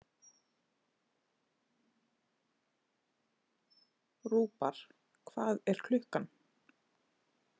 Rúbar, hvað er klukkan?